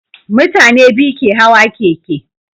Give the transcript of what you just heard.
Mutane biyu ke Hawa keke